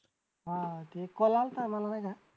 हां ते call आलता मला नाही का